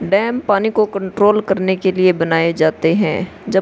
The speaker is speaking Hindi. डैम पानी को कंट्रोल करने के लिए बनाये जाते हैं जब --